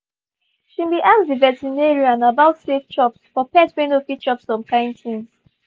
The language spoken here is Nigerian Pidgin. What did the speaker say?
she been ask the veterinarian about safe chops for pet wey not fit chop some kind things